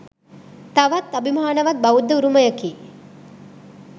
තවත් අභිමානවත් බෞද්ධ උරුමයකි.